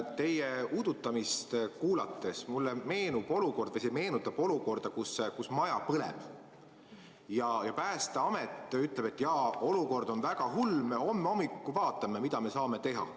Teie udutamine meenutab mulle olukorda, kui maja põleb ja Päästeamet ütleb, et jaa, olukord on väga hull, me homme hommikul vaatame, mida me saame teha.